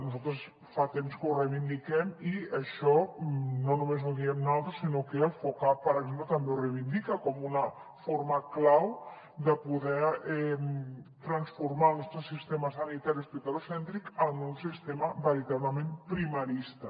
nosaltres fa temps que ho reivindiquem i això no només ho diem naltros sinó que el focap per exemple també ho reivindica com una forma clau de poder transformar el nostre sistema sanitari hospitalocèntric en un sistema veritablement primarista